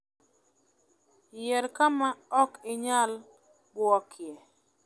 Yier kama ok inyal buokie.